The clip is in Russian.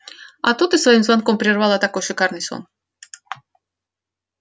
а то ты своим звонком прервала такой шикарный сон